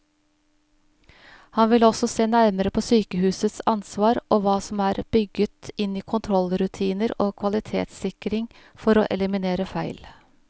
Han vil også se nærmere på sykehusets ansvar og hva som er bygget inn i kontrollrutiner og kvalitetssikring for å eliminere feil.